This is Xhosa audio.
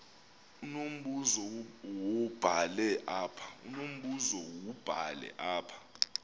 unombuzo wubhale apha